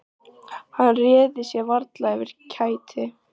Hann réði sér varla fyrir kæti.